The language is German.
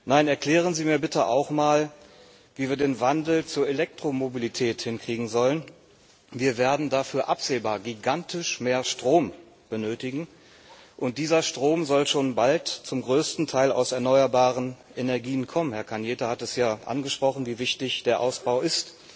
Nein, erklären Sie mir bitte auch mal, wie wir den Wandel zur Elektromobilität hinkriegen sollen Wir werden dafür absehbar gigantisch mehr Strom benötigen, und dieser Strom soll schon bald zum größten Teil aus erneuerbaren Energien kommen Herr Cañete hat es ja angesprochen, wie wichtig der Ausbau ist.